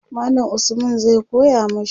mallam Usman zai koya mashi